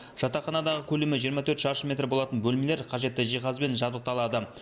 жатақханадағы көлемі жиырма төрт шаршы метр болатын бөлмелер қажетті жиһазбен жабдықталады